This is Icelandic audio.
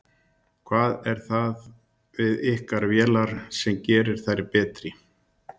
Ægir Þór Eysteinsson: Hvað er það við ykkar vélar sem gerir þær betri?